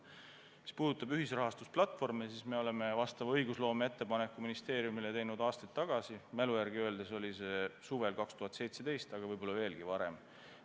Mis puudutab ühisrahastusplatvorme, siis me oleme ministeeriumile teinud sellekohase õigusloomeettepaneku aastaid tagasi, minu mälu järgi oli see suvel 2017, aga võib-olla veelgi varem.